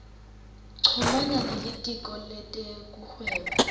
chumana nelitiko letekuhweba